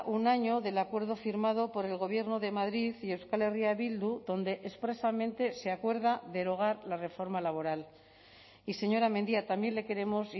un año del acuerdo firmado por el gobierno de madrid y euskal herria bildu donde expresamente se acuerda derogar la reforma laboral y señora mendia también le queremos